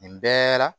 Nin bɛɛ la